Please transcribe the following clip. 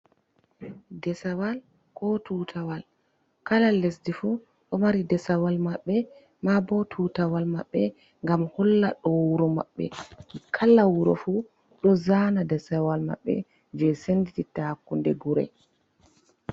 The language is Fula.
Desawal ko tutawal, kala lesdi fu ɗo mari desawal maɓɓe, e maa bo tutawal maɓɓe ngam holla ɗo wuro maɓɓe, kala wuro fu ɗo zana desawal maɓɓe jei sendititta hakkunde gure.